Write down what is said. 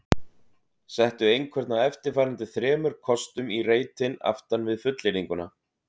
Settu einhvern af eftirfarandi þremur kostum í reitinn aftan við fullyrðinguna